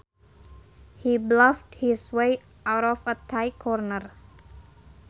He bluffed his way out of a tight corner